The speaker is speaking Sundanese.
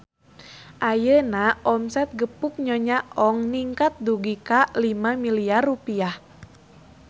Ayeuna omset Gepuk Nyonya Ong ningkat dugi ka 5 miliar rupiah